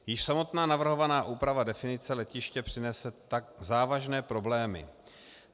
Již samotná navrhovaná úprava definice letiště přinese tak závažné problémy.